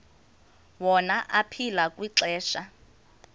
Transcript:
wona aphila kwixesha